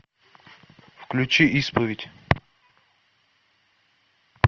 включи исповедь